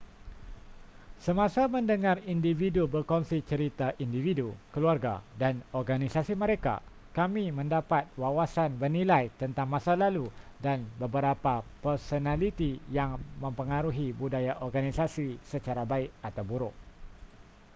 semasa mendengar individu berkongsi cerita individu keluarga dan organisasi mereka kami mendapat wawasan bernilai tentang masa lalu dan beberapa personaliti yang mempengaruhi budaya organisasi secara baik atau buruk